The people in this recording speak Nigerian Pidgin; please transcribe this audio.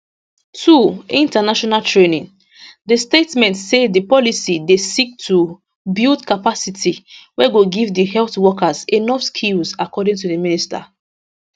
2 international training di statement say di policy dey seek to build capacity wey go give di health workers enough skills according to di minister